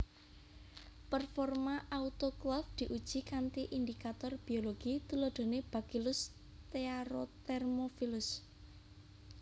Performa autoklaf diuji kanthi indicator biologi tuladhane Bacillus stearothermophilus